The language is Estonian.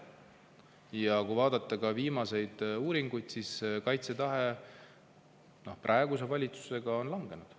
Ja kui vaadata viimaseid uuringuid, siis kaitsetahe on praeguse valitsuse tõttu langenud.